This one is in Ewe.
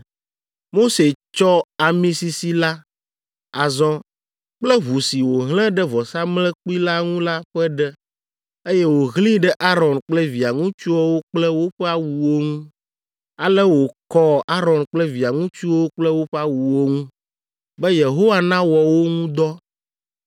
Mose tsɔ ami sisi la azɔ kple ʋu si wòhlẽ ɖe vɔsamlekpui la ŋu la ƒe ɖe, eye wòhlẽe ɖe Aron kple via ŋutsuwo kple woƒe awuwo ŋu. Ale wòkɔ Aron kple via ŋutsuwo kple woƒe awuwo ŋu, be Yehowa nawɔ wo ŋu dɔ.